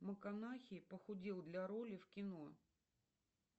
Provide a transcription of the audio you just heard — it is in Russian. муканахи похудел для роли в кино